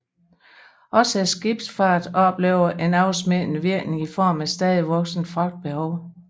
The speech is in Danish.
Også skibsfarten oplevede en afsmittende virkning i form af stadigt voksende fragtbehov